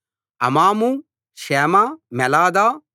అమాము షేమ మోలాదా